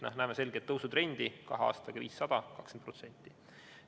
Me näeme selget tõusutrendi, kahe aastaga rohkem 500 vaidlust, s.o 20%.